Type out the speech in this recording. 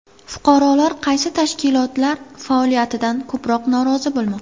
Fuqarolar qaysi tashkilotlar faoliyatidan ko‘proq norozi bo‘lmoqda?